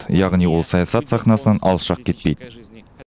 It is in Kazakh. яғни ол саясат сахнасынан алшақ кетпейді